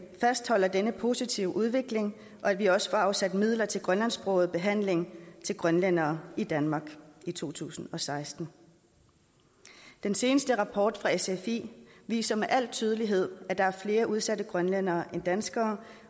fastholder denne positive udvikling og at vi også får afsat midler til grønlandsksproget behandling til grønlændere i danmark i to tusind og seksten den seneste rapport fra sfi viser med al tydelighed at der er flere udsatte grønlændere end danskere